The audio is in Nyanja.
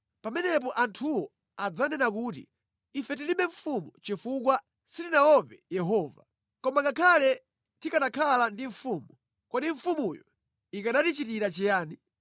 Pamenepo anthuwo adzanena kuti, “Ife tilibe mfumu chifukwa sitinaope Yehova. Koma ngakhale tikanakhala ndi mfumu, kodi mfumuyo ikanatichitira chiyani?”